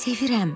Sevirəm.